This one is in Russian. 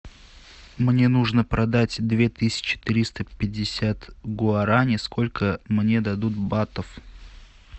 мне нужно продать две тысячи триста пятьдесят гуарани сколько мне дадут батов